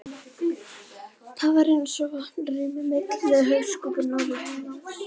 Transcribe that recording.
Það var eins og vatn rynni milli hauskúpunnar og heilans.